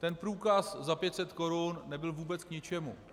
Ten průkaz za 500 korun nebyl vůbec k ničemu.